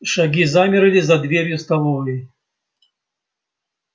шаги замерли за дверью столовой